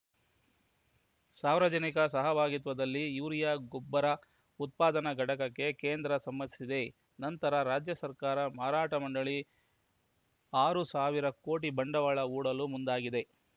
ಸಾರ್ವಜನಿಕ ಸಹಭಾಗಿತ್ವದಲ್ಲಿ ಯೂರಿಯಾ ಗೊಬ್ಬರ ಉತ್ಪಾದನಾ ಘಟಕಕ್ಕೆ ಕೇಂದ್ರ ಸಮ್ಮತಿಸಿದ ನಂತರ ರಾಜ್ಯ ಸಹಕಾರ ಮಾರಾಟ ಮಂಡಳಿ ಆರು ಸಾವಿರ ಕೋಟಿ ಬಂಡವಾಳ ಹೂಡಲು ಮುಂದಾಗಿದೆ